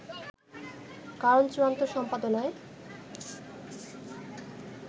কারণ চূড়ান্ত সম্পাদনায়